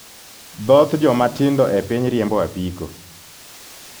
Dhoth joma tindo e piny riembo apiko.